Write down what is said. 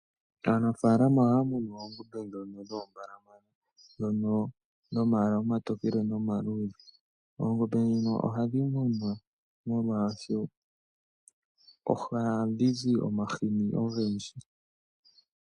Aanafalama ohamunu oongombe dhono dhombalamana dhono dhomalwala omatokele nomaludhe, oongombe dhino ohadhi munwa molwa sho oha dhizi omahini ongendji.